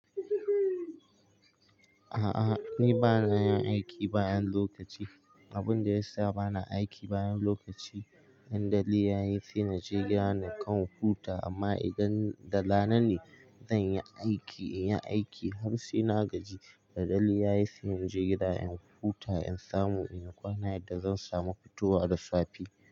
A'a ni bana yin aiki bayan lokaci. Abun da ya sa bana aiki bayan lokaci, dandali yayi sai na je gida na kan kwamfuta amma idan da rana ne zan yi aiki, in yi aiki har sai na gaji. Da dare ya yi sai inje gida in huta in samu inyi kwana yadda zan samu fitowa da safe.